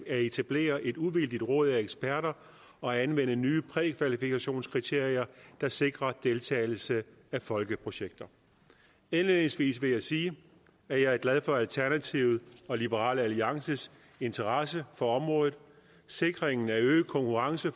at etablere et uvildigt råd af eksperter og anvende nye prækvalifikationskriterier der sikrer deltagelse af folkeprojekter indledningsvis vil jeg sige at jeg er glad for alternativet og liberal alliances interesse for området sikringen af øget konkurrence